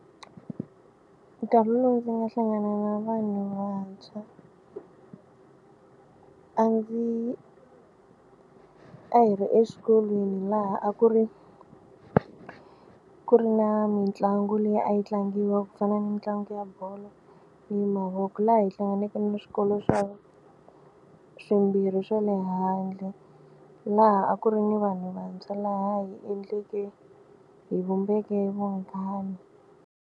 Nkarhi lowu ndzi nga hlangana na vanhu vantshwa a ndzi a hi ri exikolweni laha a ku ri ku ri na mitlangu leyi a yi tlangiwa ku fana ni mitlangu ya bolo ni mavoko laha hi hlanganeke na swikolo swa swimbirhi swa le handle laha a ku ri ni vanhu vantshwa laha hi endleke hi vumbeke vunghana.